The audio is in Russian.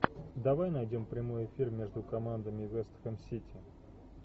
давай найдем прямой эфир между командами вест хэм сити